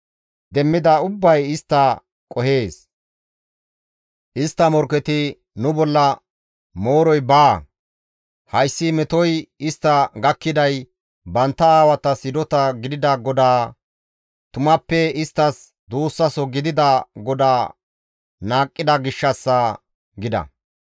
Demmida ubbay istta qohees; istta morkketi, ‹Nu bolla mooroy baa; hayssi metoy istta gakkiday bantta aawatas hidota gidida GODAA, tumappe isttas duussaso gidida GODAA qohida gishshassa› gida.